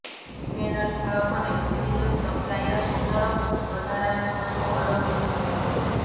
panel ભાવ અને વિવિધ સપ્લાયર્સ તરફથી વધારાના તત્વો અલગ હોઈ શકે છે